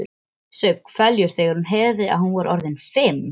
Saup hveljur þegar hún heyrði að hún var orðin fimm.